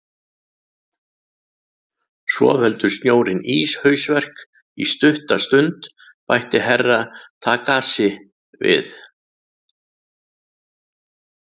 Svo veldur snjórinn íshausverk í stutta stund, bætti Herra Takashi við.